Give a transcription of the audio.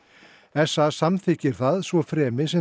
s a samþykkir það svo fremi sem